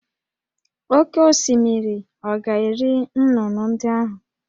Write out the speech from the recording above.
Oké osimiri ọ̀ ga-eri nnụnụ ndị ahụ?